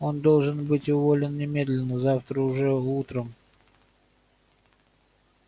он должен быть уволен немедленно завтра уже утром